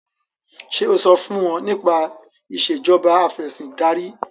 ṣe o so fún wón nípa Ìṣèjọba Afẹ̀sìndarí?